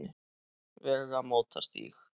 Vegamótastíg